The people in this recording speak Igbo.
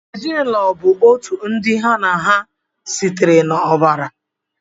Ezinụlọ bụ otu ndị ha na ha sitere n'ọbara.